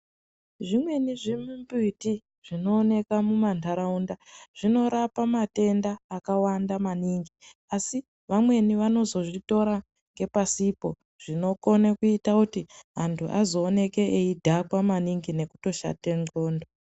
Zvimweni zvimumbiti zvinowoneka mumandarawunda zvinorapa matenda akawanda maningi. Asi, vamweni vanozozvitora ngepasipo, zvinokone kuyita kuti antu azowoneke eyidhakwa maningi nekutoshate ngxondo.